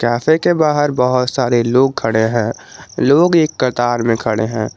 Cafe के बाहर बहोत सारे लोग खड़े हैं लोग एक कतार में खड़े हैं।